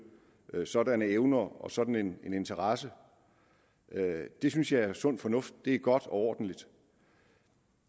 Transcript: sådanne evner og sådan en interesse det synes jeg er sund fornuft det er godt og ordentligt